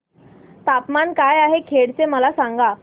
तापमान काय आहे खेड चे मला सांगा